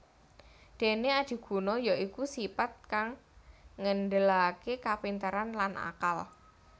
Dene adiguna ya iku sipat kang ngendelake kapinteran lan akal